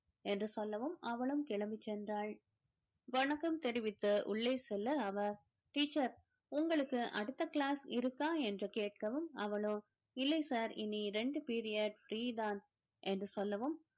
என்று சொல்லவும் அவளும் கிளம்பிச் சென்றால் வணக்கம் தெரிவித்து உள்ளே செல்ல அவர் teacher உங்களுக்கு அடுத்த class இருக்கா என்று கேட்கவும் அவளோ இல்லை sir இனி இரண்டு period free தான் என்று சொல்லவும்